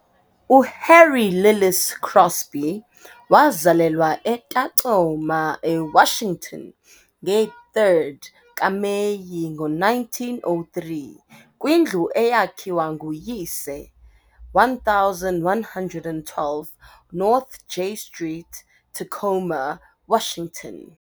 UHarry Lillis Crosby wazalelwa eTacoma, eWashington, nge-third kaMeyi, ngo-1903, kwindlu eyakhiwa nguyise, 1112 North J Street, Tacoma, Washington.